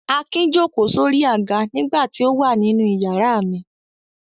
Akin jókòó sórí àga nígbà tí ó wà nínú ìyàrá mi.